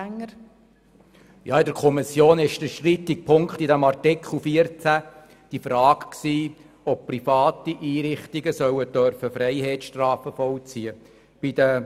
In der Kommission war der strittige Punkt bei Artikel 14 die Frage, ob private Einrichtungen Freiheitsstrafen vollziehen dürfen sollen.